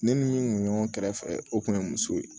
Ne ni n kun ɲɔgɔn kɛrɛfɛ o kun ye muso ye